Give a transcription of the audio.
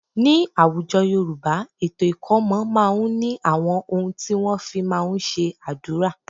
Ní àwùjọ Yorùbá, ètò ikomo máa ń ní àwọn ohun tí wọ́n fí máa ń ṣe àdúrà.